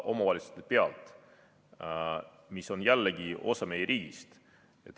Omavalitsus on jällegi osa meie riigist.